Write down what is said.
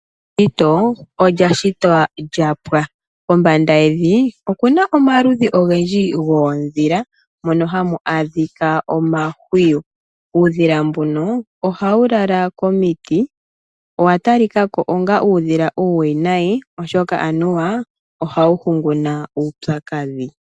Eshito olya shitwa lya pwa. Kombanda yevi okuna omaludhi ogendji goondhila mono hamu adhika omahwiyu. Uudhila mbuno ohawu lala komiti. Owa talikako onga uudhila uuwinayi oshoka anuwa ohawu hunguna uupyakadhi.